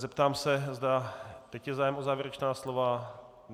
Zeptám se, zda teď je zájem o závěrečná slova.